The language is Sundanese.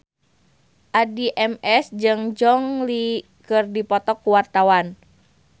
Addie MS jeung Gong Li keur dipoto ku wartawan